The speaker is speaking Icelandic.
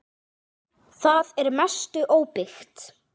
Það er að mestu óbyggt.